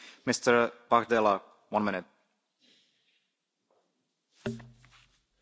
Monsieur le Président, nous discutons aujourd'hui de la possibilité à terme que l'Albanie intègre l'Union européenne.